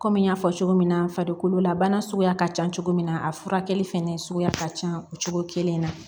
Kɔmi n y'a fɔ cogo min na farikololabana suguya ka ca cogo min na a furakɛli fɛnɛ suguya ka ca o cogo kelen na